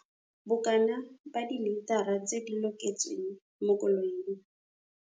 Bokana ba dilitara tse di loketsweng mo koloing.